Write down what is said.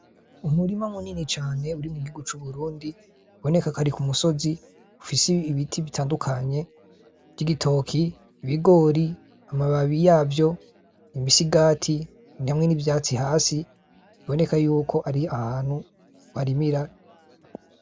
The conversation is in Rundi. Umurima munini cane uri mu gihugu c'Uburundi biboneka ko ari kumusozi ufise ibiti bitandukanye vy' igitoki , ibigori, amababi yavyo, imisigati hamwe n' ivyatsi hasi biboneka yuko ari ahantu barimira.